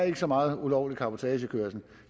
er så meget ulovlig cabotagekørsel